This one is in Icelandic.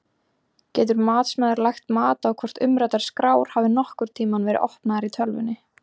Getur matsmaður lagt mat á hvort umræddar skrár hafi nokkurn tímann verið opnaðar í tölvunni?